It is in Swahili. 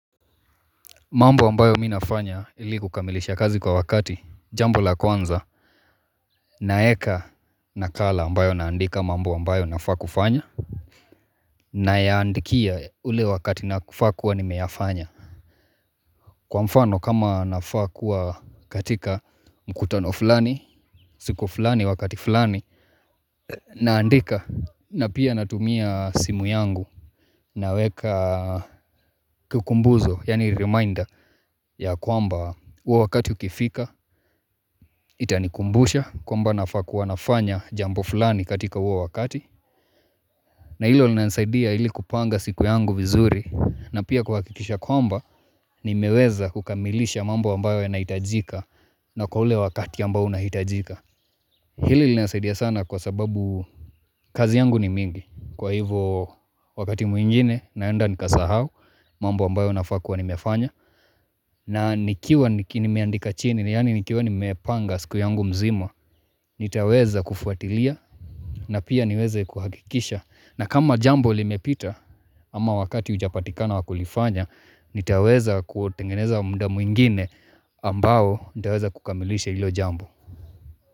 Mambo ambayo mi nafanya ili kukamilisha kazi kwa wakati jambo la kwanza naeka nakala ambayo naandika mambo ambayo nafaa kufanya Nayaandikia ule wakati nafaa kuwa nimeyafanya. Kwa mfano kama nafaa kuwa katika mkutano fulani, siku fulani wakati fulani naandika na pia natumia simu yangu Naweka kikumbuzo yaani reminder, ya kwamba huo wakati ukifika itanikumbusha kwamba nafaa kuwa nafanya jambo fulani katika huo wakati na hilo linasaidia hili kupanga siku yangu vizuri na pia kuhakikisha kwamba nimeweza kukamilisha mambo ambayo yanahitajika na kwa ule wakati ambao unahitajika Hili linasaidia sana kwa sababu kazi yangu ni mingi kwa hivo wakati mwingine naenda nikasahau mambo ambayo nafaa kua nimefanya na nikiwa nimeandika chini, ni yaani nikiwa nimepanga siku yangu mzima, nitaweza kufuatilia na pia niweze kuhakikisha. Na kama jambo limepita ama wakati hujapatikana wakulifanya, nitaweza kutengeneza muda mwingine ambao nitaweza kukamilisha hilo jambo.